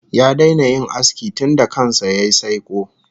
Ya daina yin aski tunda kan sa yayi saiko